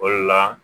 O de la